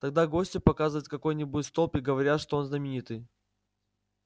тогда гостю показывают какой-нибудь столб и говорят что он знаменитый